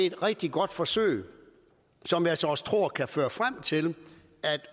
et rigtig godt forsøg som jeg så også tror kan føre frem til